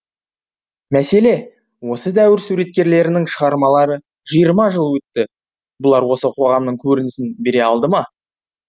мәселе осы дәуір суреткерлерінің шығармалары жиырма жыл өтті бұлар осы қоғамның көрінісін бере алды ма